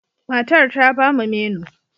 Matar ta ba mu menu.